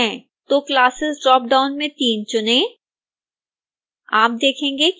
तो classes drop down में 3 चुनें